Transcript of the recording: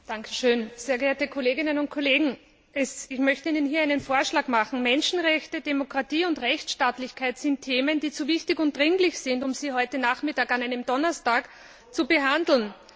Herr Präsident, sehr geehrte Kolleginnen und Kollegen! Ich möchte Ihnen einen Vorschlag machen Menschenrechte, Demokratie und Rechtsstaatlichkeit sind Themen, die zu wichtig und dringlich sind, um sie heute Nachmittag, an einem Donnerstag, zu behandeln.